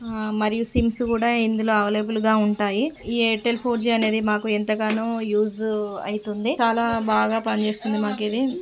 ఆ మరియు సీమ్స్ కూడా ఇందులో బాగా ఎవైలబుల్ గా ఉంటాయి ఈ ఎయిర్టెల్ ఫోర్ జి అనేది మాకు ఎంతగానో యూస్ అయితుంది చాలా బాగా పనిచేస్తుంది మాకు ఇది.